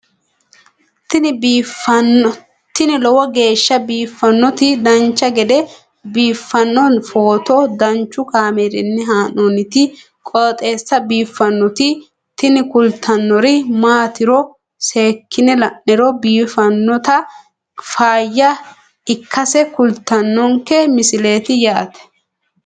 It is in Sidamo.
tini lowo geeshsha biiffannoti dancha gede biiffanno footo danchu kaameerinni haa'noonniti qooxeessa biiffannoti tini kultannori maatiro seekkine la'niro biiffannota faayya ikkase kultannoke misileeti yaate